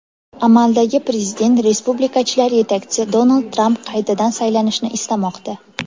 Amaldagi prezident, respublikachilar yetakchisi Donald Tramp qaytadan saylanishni istamoqda.